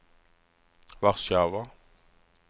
Warszawa